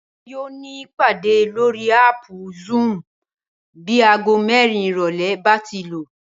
Bímpé yóò ní ìpàdé lórí áàpù Zoom bí aago mẹ́rin ìrọ̀lẹ́ bá ti lù